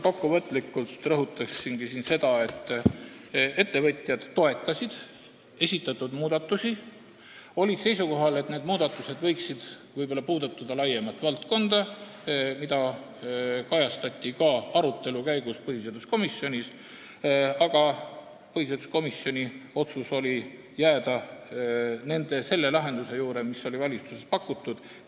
Kokkuvõtlikult rõhutan seda, et ettevõtjad toetasid esitatud muudatusi, nad olid seisukohal, et need muudatused võiksid puudutada laiemat valdkonda, mida kajastati ka arutelu käigus põhiseaduskomisjonis, aga põhiseaduskomisjoni otsus oli jääda selle lahenduse juurde, mille oli pakkunud valitsus.